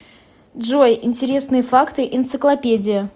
джой интересные факты энциклопедия